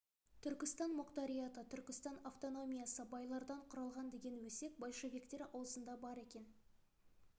түркістан мұқтариаты түркістан автономиясы байлардан құралған деген өсек большевиктер аузында бар екен